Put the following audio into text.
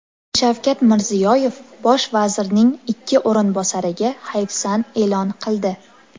Shavkat Mirziyoyev bosh vazirning ikki o‘rinbosariga hayfsan e’lon qildi .